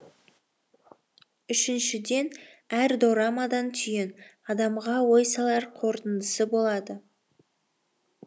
үшіншіден әр дорамада түйін адамға ой салар қорытындысы болады